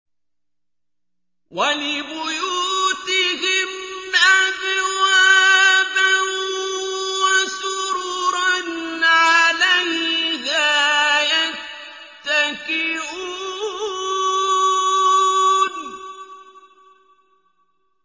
وَلِبُيُوتِهِمْ أَبْوَابًا وَسُرُرًا عَلَيْهَا يَتَّكِئُونَ